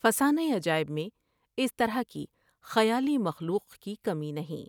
فسانہ عجائب میں اس طرح کی خیالی مخلوق کی کمی نہیں ۔